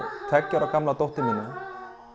tveggja ára gamla dóttur mína